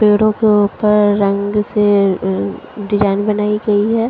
पेड़ो के ऊपर रंग से अ डिज़ाइन बनाई गयी है।